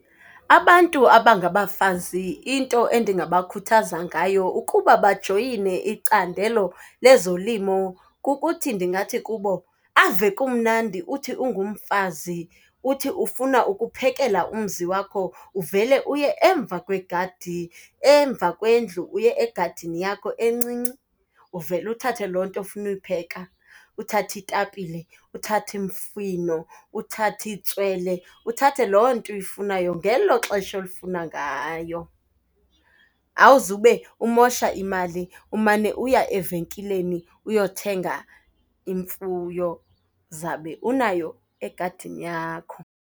Abantu abangabafazi into endingabakhuthaza ngayo ukuba bajoyine icandelo lezolimo kukuthi ndingathi kubo, ave kumnandi uthi ungumfazi uthi ufuna ukuphekela umzi wakho uvele uye emva kwegadi. Emva kwendlu uye egadini yakho encinci uvele uthathe loo nto ofuna uyipheka, uthathe itapile, uthathe imifino, uthathe itswele, uthathe loo nto uyifunayo ngelo xesha olifuna ngayo. Awuzube umosha imali umane uya evenkileni uyothenga imfuyo, uzabe unayo egadini yakho.